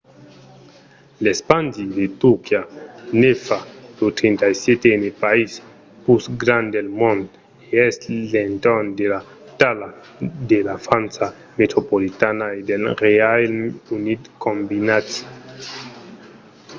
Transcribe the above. l’espandi de turquia ne fa lo 37n país pus grand del mond e es a l'entorn de la talha de la frança metropolitana e del reialme unit combinats